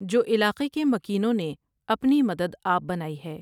جو علاقے کے مکینوں نے اپنی مدد آپ بنائی ہے ۔